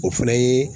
O fana ye